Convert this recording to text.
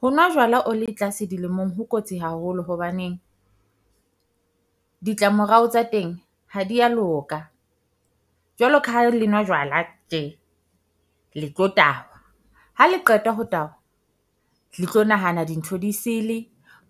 Ho nwa jwala o le tlase dilemong ho kotsi haholo hobaneng. Ditlamorao tsa teng ha dia loka jwalo, ka ha le nwa jwala tje le tlo tahwa. Ha le qetwa ho tahwa, le tlo nahana dintho disele